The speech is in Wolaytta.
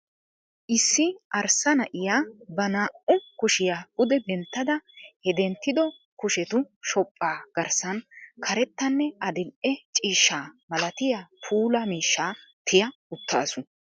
Issi arssa na'iya ba naa"u kushiya pude denttada he denttiddo kushetu shophpha garssan karettanne adil"e ciishshaa malatiya puulaa miishsha tiya uttaasu.